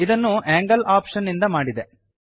ಇದನ್ನು angle option ನಿಂದ ಮಾಡಿದೆ